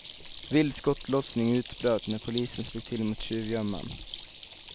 Vild skottlossning utbröt när polisen slog till mot tjuvgömman.